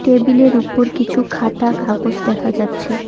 Table -এর উপর কিছু খাতা কাগজ দেখা যাচ্ছে।